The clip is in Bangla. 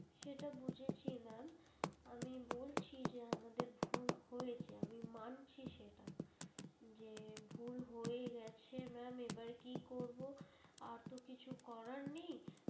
সেটা বুঝেছি ma'am আমি বলছি যে আমাদের ভুল হয়েছে আমি মানছি সেটা যে ভুল হয়েগেছে ma'am এবার কি করবো আর তো কিছু করার নেই।